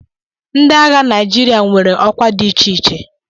Ndị agha Naijiria nwere ọkwa dị iche iche